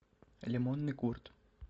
лимонный курд